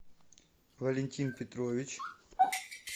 валентин петрович